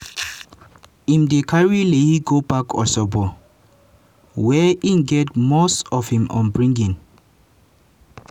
im dem carry layi go back osogbo wia im get most of im upbringing.